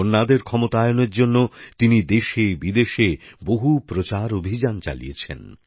মহিলাদের ক্ষমতায়নের জন্য তিনি দেশেবিদেশে বহু প্রচার অভিযান চালিয়েছেন